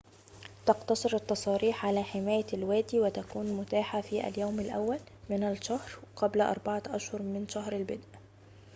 تقتصر التصاريح على حماية الوادي وتكون متاحة في اليوم الأول من الشهر قبل أربعة أشهر من شهر البدء